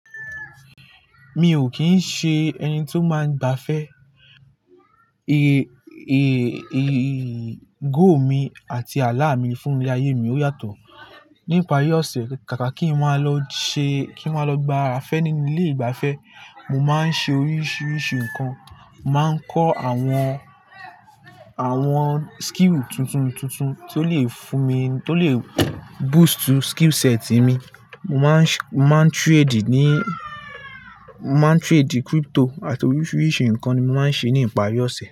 Mi ò kín ń ṣe ẹni tí ó máa ń gbafẹ́. Èrè, èrè, èrè ìgò mi àti àlá mi fún ilé ayé mi ó yàtọ̀. Nípari ọ̀sẹ̀, kàkà kí n máa lọ ṣe, kí n máa lọ gba afẹ́ nínú ilé ìgbafẹ́, mo máa ń ṣe oríṣiríṣi nǹkan. Mo máa ń kọ́ àwọn, àwọn skill tuntun tuntun tí ó le fún mi, tí ó le boost skill set mi. Mo máa ń, máa ń trade ní, máa ń trade crypto àti oríṣiríṣi nǹkan ni mo máa ń ṣe ní ipari ọ̀sẹ̀.